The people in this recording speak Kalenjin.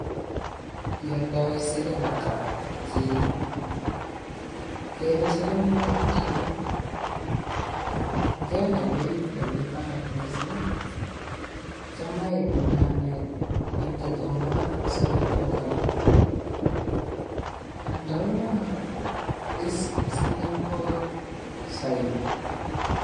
Ialdae siling ata kii? Kele siling pokol somok ngende beit nemi barak mising cham aibune ane kigomba siling pokol aldauneno anyun siling pokol saip